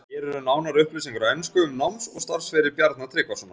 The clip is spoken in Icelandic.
Hér eru nánari upplýsingar á ensku um náms- og starfsferil Bjarna Tryggvasonar.